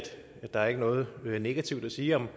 der ikke er noget negativt at sige om